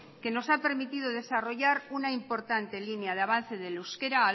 que nos ha permitido desarrollar una importante línea de avance del euskera